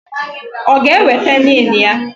Ọ g'eweta NIN ya.